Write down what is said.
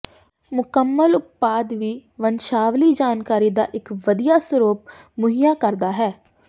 ਮੁਕੰਮਲ ਉਤਪਾਦ ਵੀ ਵੰਸ਼ਾਵਲੀ ਜਾਣਕਾਰੀ ਦਾ ਇੱਕ ਵਧੀਆ ਸਰੋਤ ਮੁਹੱਈਆ ਕਰਦਾ ਹੈ